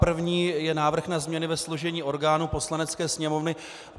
První je návrh na změny ve složení orgánů Poslanecké sněmovny.